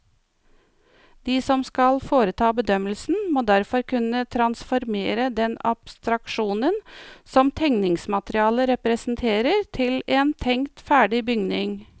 De som skal foreta bedømmelsen, må derfor kunne transformere den abstraksjonen som tegningsmaterialet representerer til en tenkt ferdig bygning.